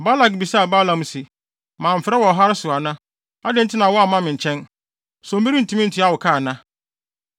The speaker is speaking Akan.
Balak bisaa Balaam se, “Mamfrɛ wo ɔhare so ana? Adɛn nti na woamma me nkyɛn? So merentumi ntua wo ka ana?”